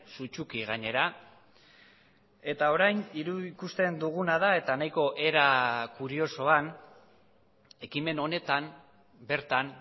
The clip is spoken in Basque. sutsuki gainera eta orain ikusten duguna da eta nahiko era kuriosoan ekimen honetan bertan